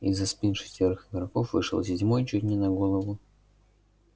из-за спин шестерых игроков вышел седьмой чуть не на голову